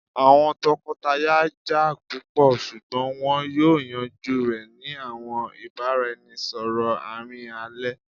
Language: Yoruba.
awọn tọkọtaya ja pupọ ṣugbọn wọn yoo yanju rẹ ni awọn ibaraẹnisọrọ aarin alẹ